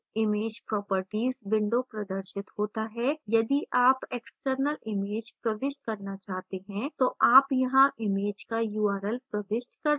image properties window प्रदर्शित होता है यदि आप external image प्रविष्ट करना चाहते हैं तो आप यहाँ image का url प्रविष्ट कर सकते हैं